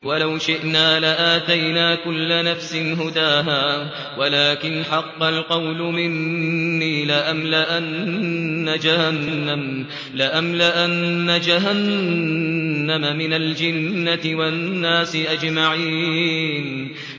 وَلَوْ شِئْنَا لَآتَيْنَا كُلَّ نَفْسٍ هُدَاهَا وَلَٰكِنْ حَقَّ الْقَوْلُ مِنِّي لَأَمْلَأَنَّ جَهَنَّمَ مِنَ الْجِنَّةِ وَالنَّاسِ أَجْمَعِينَ